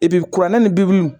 kuranɛ ni